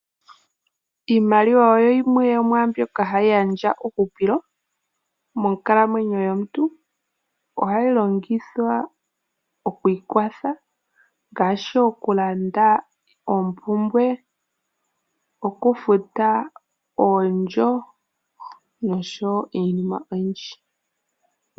Iimaliwa oyo yimwe yomwaambyoka hayi gandja uuhupilo monkalamwenyo yomuntu. ohayi Longithwa oku ikwatha ngaashi okulanda oompumbwe, okufuta oondjo noshowo iinima oyindji.